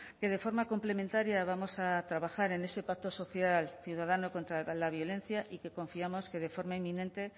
que de forma complementaria vamos a trabajar en ese pacto social ciudadano contra la violencia y que confiamos que de forma inminente